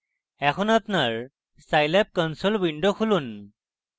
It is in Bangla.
এখন আপনার scilab console window খুলুন